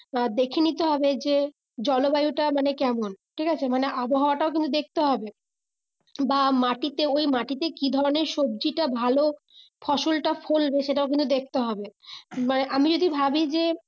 দেখে নিতে হবে যে জলবায়ু টা মানে কেমন ঠিক আছে মানে আবহাওয়া টাও কিন্তু দেখতে হবে বা মাটিতে ওই মাটিতে কি ধরণের সবজিটা ভালো ফসলটা ফলবে সেটাও কিন্তু দেখতে হবে মানে আমি যদি ভাবি যে